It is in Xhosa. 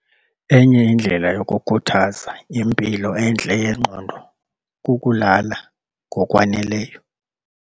Enye indlela yokukhuthaza impilo entle yengqondo kukulala ngokwaneleyo.